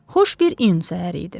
Xoş bir iyun səhəri idi.